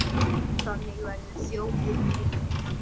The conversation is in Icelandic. Þannig verður þjóðin rík.